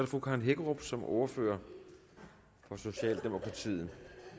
fru karen hækkerup som ordfører for socialdemokratiet